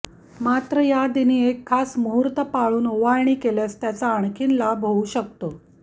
मात्र या दिनी एक खास मुहूर्त पाळून ओवाळणी केल्यास त्याचा आणखीन लाभ होऊ शकतो